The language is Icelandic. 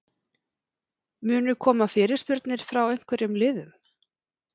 Munu koma fyrirspurnir frá einhverjum liðum?